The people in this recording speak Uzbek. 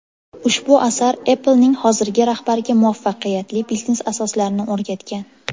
Ushbu asar Apple’ning hozirgi rahbariga muvaffaqiyatli biznes asoslarini o‘rgatgan.